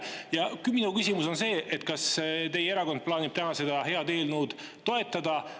Ja minu küsimus on see, kas teie erakond plaanib täna seda head eelnõu toetada.